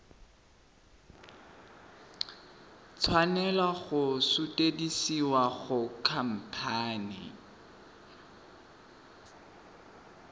tshwanela go sutisediwa go khamphane